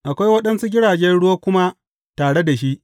Akwai waɗansu jiragen ruwa kuma tare da shi.